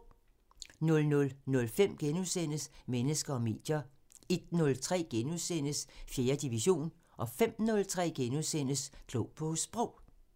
00:05: Mennesker og medier * 01:03: 4. division * 05:03: Klog på Sprog *